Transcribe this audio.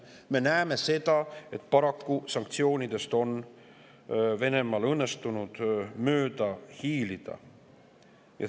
Me näeme, et paraku on õnnestunud Venemaal sanktsioonidest mööda hiilida.